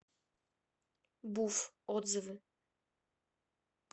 буфф отзывы